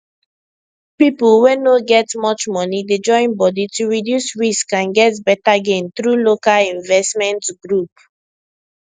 people wey no get much money dey join body to reduce risk and get better gain through local investment group